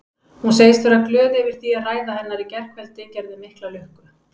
Hún segist vera glöð yfir því að ræða hennar í gærkvöldi gerði mikla lukku.